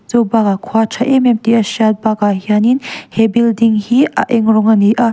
chubâkah khua a ṭha êm êm tih a hriat bâkah hianin he building hi a eng rawng a ni a.